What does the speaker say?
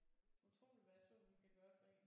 Utroligt hvad solen kan gøre for en